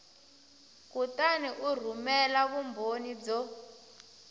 kutani u rhumela vumbhoni byo